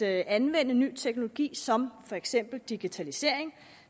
anvende ny teknologi som for eksempel digitalisering